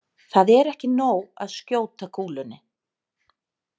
Það er ekki nóg að skjóta kúlunni